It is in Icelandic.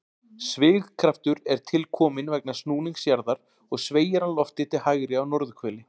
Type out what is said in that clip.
Svigkraftur er til kominn vegna snúnings jarðar og sveigir hann loftið til hægri á norðurhveli.